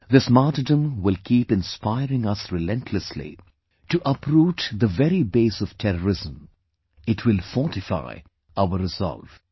This martyrdom will keep inspiring us relentlessly to uproot the very base of terrorism; it will fortify our resolve